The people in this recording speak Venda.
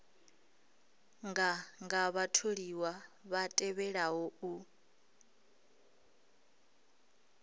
nganga vhatholiwa vha tevhelaho u